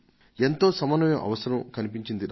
ఎంతో సమన్వయం అవసరం కన్పించింది నాకు